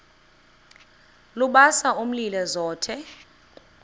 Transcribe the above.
lubasa umlilo zothe